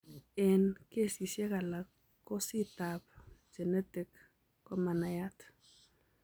Eng' kesisiek alak kosit ab genetic komanaiyat